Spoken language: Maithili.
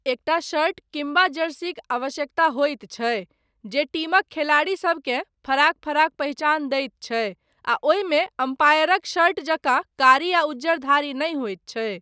एकटा शर्ट किम्बा जर्सीक आवश्यकता होइत छैक, जे टीमक खेलाड़ीसभकेँ फराक फराक पहिचान दैत छैक, आ ओहिमे अम्पायरक शर्ट जकाँ कारी आ उज्जर धारी नहि होइत छैक।